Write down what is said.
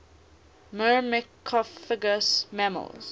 myrmecophagous mammals